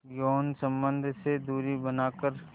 यौन संबंध से दूरी बनाकर